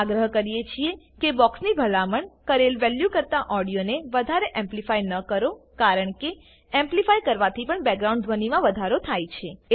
આગ્રહ કરીએ છીએ કે બોક્સની ભલામણ કરેલ વેલ્યુ કરતા ઓડિયોને વધારે એમ્પલીફાય ન કરો કારણ કે એમ્પલીફાય કરવાથી પણ બેકગ્રાઉન્ડ ધ્વનીમાં વધારો થાય છે